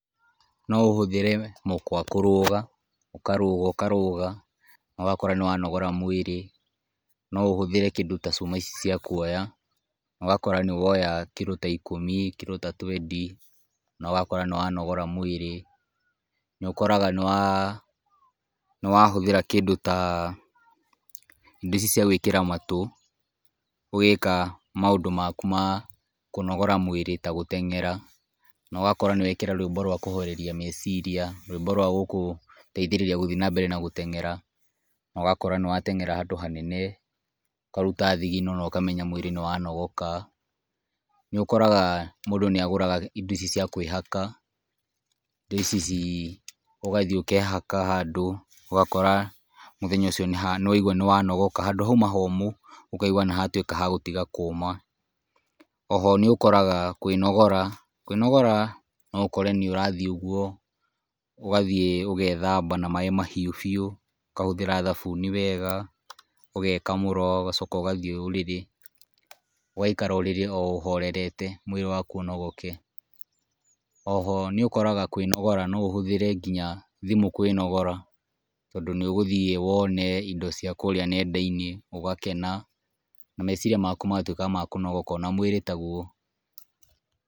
No ũhũthĩre mũkwa kũruga, ũkaruga ũkaruga no gakora nĩ wanogora mũĩrĩ, no ũhũthĩre kĩndũ ta cuma ici cia kuoya nogakora nĩwoya kĩndũ ta ikũmi, kĩndũ ta twendi, nogakora nĩwanogora mũĩrĩ, nĩũkoraga nĩwahũthĩra kĩndũ ta indo ici cia gũĩkĩra matũ ũgĩka maũndũ maku ma kũnogora mũĩrĩ ta gũteng’era, nogakora nĩwekĩra rũimbo rwa kũhoreria meciria, rũimbo rwa gũgũteithĩrĩria gũthiĩ na mbere na gũteng’era nogakora nĩwatengra handũ hanene ũkaruta thigino nokamenya mũĩrĩ nĩwanogoka. Nĩũkoraga mũndũ nĩagũraga indo ici cia kũĩhaka ũgathiĩ ũkehaka handũ ũgakora mũthenya ũcio nĩwaigua nĩwanogoka, handũ hauma homũ ũkaigua nĩhatuĩka ha gũtiga kũma, oho nĩũkoraga kũĩnogora noũkore nĩũrathiĩ ũguo ũgethamba na maaĩ mahiũ biũ ũkahũthĩra thabuni wega, ũgekamũra ũgacoka ũgathiĩ ũrĩrĩ, ũgaikara ũrĩrĩ o ũhorerete mũĩrĩ waku, oho nĩũkoraga kũĩnogora, no ũhũthĩre nginya thimũ kũĩnogora tondũ nĩũgũthie wone indo cia kũrĩa nenda-inĩ ũgakena na meciria maku magatuĩka ma kunogoka o na muĩrĩ taguo.